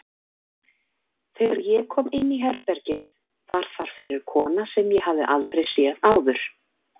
Þegar ég kom inní herbergið var þar fyrir kona sem ég hafði aldrei séð áður.